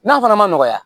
N'a fana ma nɔgɔ ya